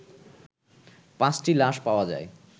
পাঁচটি লাশ পাওয়া যায়